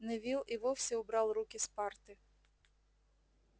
невилл и вовсе убрал руки с парты